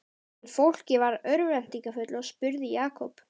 En fólkið varð örvæntingarfullt og spurði Jakob